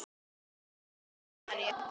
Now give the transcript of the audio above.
Þín Eva María.